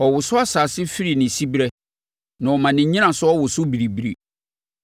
Ɔwoso asase firi ne siberɛ, na ɔma ne nnyinasoɔ woso biribiri.